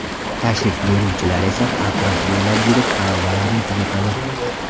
Tashrif buyuruvchilar esa atrof bo‘ylab yurib, xarobalarni kuzatadi.